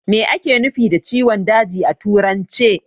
Me ake nufi da ciwon daji a turance?